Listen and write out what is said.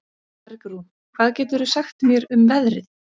Bergrún, hvað geturðu sagt mér um veðrið?